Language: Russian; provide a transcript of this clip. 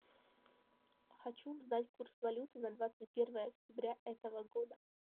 хочу узнать курс валюты на двадцать первое октября этого года